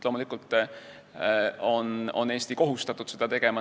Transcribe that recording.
Loomulikult on Eesti kohustatud seda tegema.